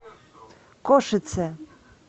кошице